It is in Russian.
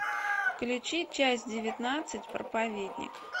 включи часть девятнадцать проповедник